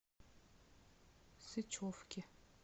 сычевки